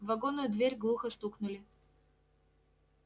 в вагонную дверь глухо стукнули